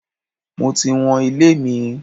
Mo ti wọn ilé mi.